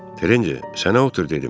Terenci, sənə otur dedim.